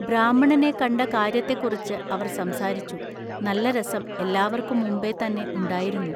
ബ്രാഹ്മണനെ കണ്ട കാൎയ്യത്തെക്കുറിച്ചു അവർ സംസാരിച്ചു നല്ല രസം എല്ലാവൎക്കും മുമ്പെ തന്നെ ഉണ്ടായിരുന്നു.